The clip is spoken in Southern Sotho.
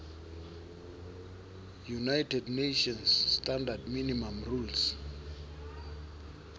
united nations standard minimum rules